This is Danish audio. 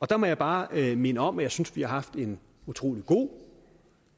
der må jeg bare minde om at jeg synes vi har haft en utrolig god